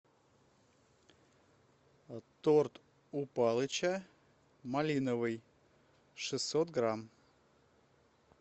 торт у палыча малиновый шестьсот грамм